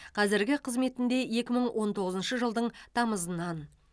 қазіргі қызметінде екі мың он тоғызыншы жылдың тамызынан